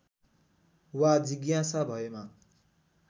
वा जिज्ञासा भएमा